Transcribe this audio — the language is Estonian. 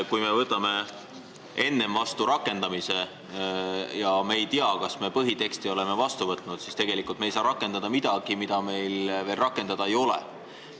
Kui me võtame enne vastu rakendamisseaduse ega tea siis, kas me põhiteksti vastu võtame, siis unustame, et tegelikult ei saa rakendada midagi, mida veel vastu võetud ei ole.